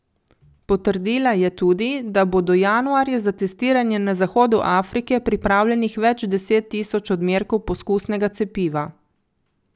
Potrdila je tudi, da bo do januarja za testiranje na zahodu Afrike pripravljenih več deset tisoč odmerkov poskusnega cepiva.